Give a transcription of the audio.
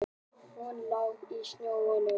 Hún lá í snjónum.